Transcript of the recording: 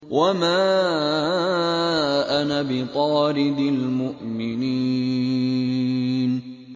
وَمَا أَنَا بِطَارِدِ الْمُؤْمِنِينَ